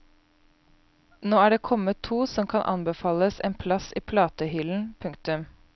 Nå er det kommet to som kan anbefales en plass i platehyllen. punktum